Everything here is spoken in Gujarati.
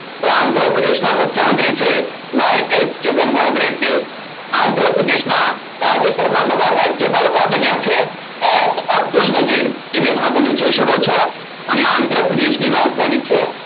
તો આંધ્રપ્રદેશના મુખ્ય મંત્રી છે YS જગન રેડ્ડી આંધ્રપ્રદેશના તાજેતરમાં બધા રાજ્ય પાલ કોણ બન્યા છે L અબ્દુલ નગીલ એ બે તમે જોય શકો છો અને આંદ્રપ્રદેશની રાજધાની છે